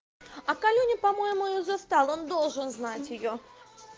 а колюня по-моему её застал он должен знать её